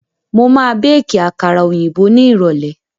Mo ma béèkí àkàrà òyìnbó ní ìrọ̀lẹ́